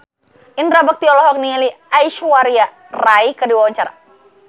Indra Bekti olohok ningali Aishwarya Rai keur diwawancara